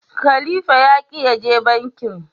khalifa ya ki ya je bankin.